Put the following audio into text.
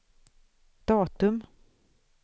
datum